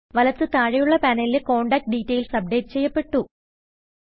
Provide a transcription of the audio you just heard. വലത്ത് താഴെയുള്ള പാനലിലെ കോണ്ടാക്റ്റ് ഡിറ്റയിൽസ് അപ്ഡേറ്റ് ചെയ്യപ്പെട്ടു